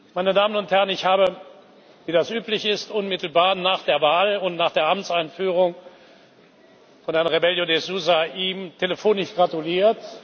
Meine Damen und Herren! Ich habe wie das üblich ist unmittelbar nach der Wahl und nach der Amtseinführung von Herrn Rebelo de Sousa ihm telefonisch gratuliert.